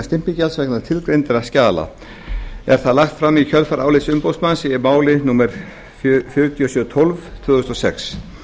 stimpilgjalds vegna tilgreindra skjala er það lagt fram í kjölfar álits umboðsmanns í máli númer fjögur þúsund sjö hundruð og tólf tvö þúsund og sex